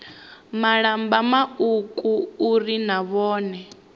malamba mauku uri na vhone